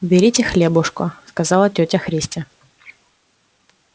берите хлебушка сказала тётя христя